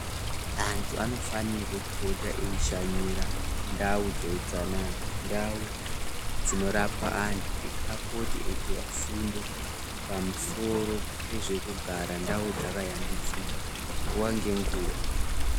Antu anofanirwe kuita eishanyira ndau dzeutsanana ndau dzinorapwa antu kuti apote eipihwa fundo pamusoro pezvekugara ndau dzakayambidzika nguwa ngenguwa.